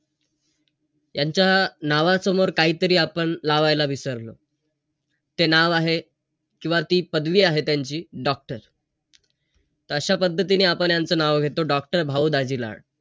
यांच्या नावासमोर काहीतरी आपण लावायला विसरलो. ते नाव आहे. किंवा ती पदवी आहे त्यांची. Doctor. अशा पद्धतीनं आपण यांचं नाव घेतो. Doctor भाऊ दाजी लाड.